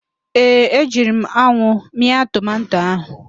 Ee, ejiri m anwụ mịa tomanto ahụ